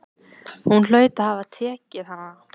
Hún hlaut að hafa tekið hana.